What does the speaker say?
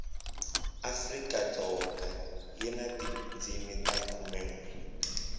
afrikadzoga yi na tindzimi ta khumenwe